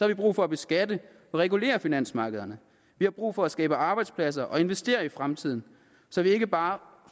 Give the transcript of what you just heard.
vi brug for at beskatte og regulere finansmarkederne vi har brug for at skabe arbejdspladser og investere i fremtiden så vi ikke bare